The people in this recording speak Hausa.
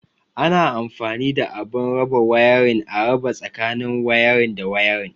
Ana anfani da abun raba wayarin, a raba tsakanin wayarin da wayarin.